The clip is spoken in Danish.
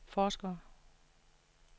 forskere